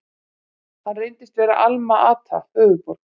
Hann reyndist vera Alma-Ata, höfuðborg